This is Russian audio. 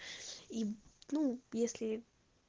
и ну если